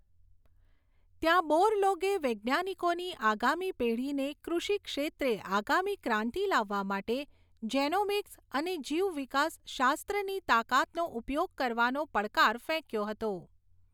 ત્યાં, બોરલોગે વૈજ્ઞાનિકોની આગામી પેઢીને કૃષિક્ષેત્રે આગામી ક્રાંતિ લાવવા માટે જેનોમિક્સ અને જીવવિકાસશાસ્ત્રની તાકાતનો ઉપયોગ કરવાનો પડકાર ફેંક્યો હતો.